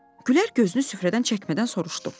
Güllər gözünü süfrədən çəkmədən soruşdu: